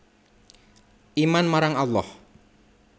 Iman marang Allah